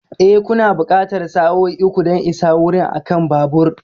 E, kuna buƙatar sa'o'i uku don isa wurin akan babur.